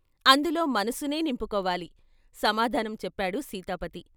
"అందులో మనసునే నింపుకోవాలి " సమాధానం చెప్పాడు సీతాపతి.